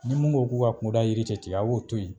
Nin mun ko k'u k'a kungoda yiri te tigɛ a b'o to yen